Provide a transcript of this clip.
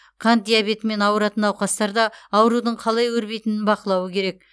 қант диабетімен ауыратын науқастар да аурудың қалай өрбитінін бақылауы керек